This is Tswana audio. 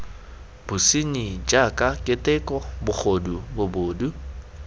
bosenyi jaaka keteko bogodu bobod